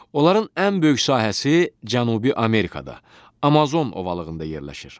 Onların ən böyük sahəsi Cənubi Amerikada Amazon ovalığında yerləşir.